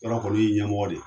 Yɔrɔ o kɔni y'i ɲɛmɔgɔ de ye!